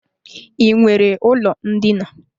I nwere ụlọ ndina?